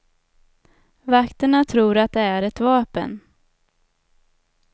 Vakterna tror att det är ett vapen.